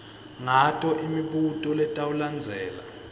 ngato imibuto letawulandzela